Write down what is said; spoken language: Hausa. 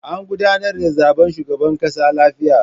An gudanar da zaben shugaban ƙasa lafiya.